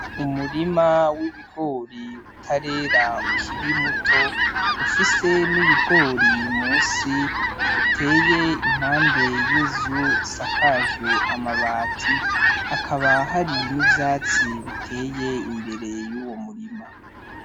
Umurima w'ibigori utarera ukiri muto, ufise n'ibigori munsi uteye impande y'inzu isakajwe amabati. Hakaba hari n'ivyatsi biteye imbere y'uwo murima.